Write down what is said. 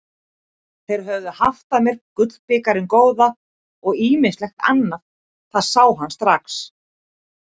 Þeir höfðu haft með sér gullbikarinn góða og ýmislegt annað, það sá hann strax.